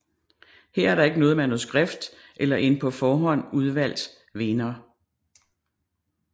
Her er der ikke noget manuskript eller en på forhånd udvalgt vinder